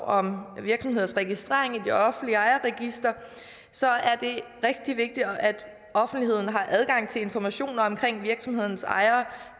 om virksomhedsregistrering i det offentlige ejerregister så er det rigtig vigtigt at offentligheden har adgang til informationer om virksomhedens ejere